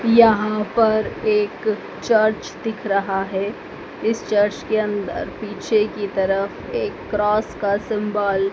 यहां पर एक चर्च दिख रहा है। इस चर्च के अन्दर पीछे की तरफ एक क्रॉस का सिंबल --